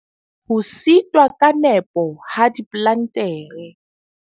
Ho setwa ka nepo ha diplantere.